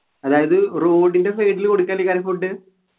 അതായത് road ൻ്റെ side ൽ കൊടുക്കണ്ടിക്കാരും